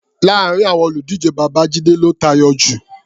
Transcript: Láàárin àwọn olùdíje, Babájíde ló tayọ jù.